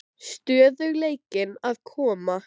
Stöðugleikinn að koma?